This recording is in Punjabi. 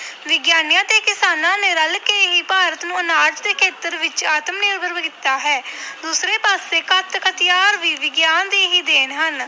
ਵਿਗਿਆਨੀਆਂ ਤੇ ਕਿਸਾਨਾਂ ਨੇ ਰਲ ਕੇ ਹੀ ਭਾਰਤ ਨੂੰ ਆਨਾਜ ਦੇ ਖੇਤਰ ਵਿੱਚ ਆਤਮ ਨਿਰਭਰ ਕੀਤਾ ਹੈ ਦੂਸਰੇ ਪਾਸੇ ਘਾਤਕ ਹਥਿਆਰ ਵੀ ਵਿਗਿਆਨ ਦੀ ਹੀ ਦੇਣ ਹਨ।